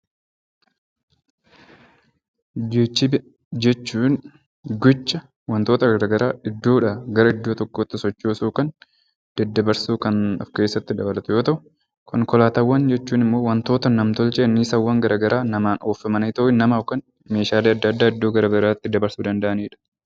Geejjiba jechuun gocha wantoota garaagaraa iddoodha gara iddoo tokkootti sochoosuu yookaan daddabarsuu kan of keessatti qabatu yoo ta'u, konkolaataawwan jechuun immoo wantoota nam-tolchee anniisaawwan garaagaraan oofamanii nama yookaan meeshaalee addaa addaa gara biraatti dabarsuu danda'anidha.